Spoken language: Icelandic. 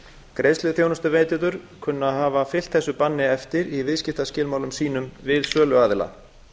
greiðsluþjónustuveitendur kunna að hafa fylgt þessu banni eftir í viðskiptaskilmálum sínum við söluaðila